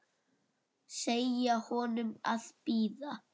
Segja honum að bíða.